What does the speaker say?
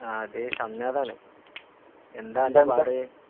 അതേയ്, ഷംനാദാണേ..എന്താണ്ടാ പാട്?